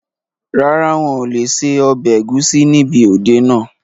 Rárá, wọn lé ṣe ọbẹ̀ ẹ̀gúsí níbi òde náà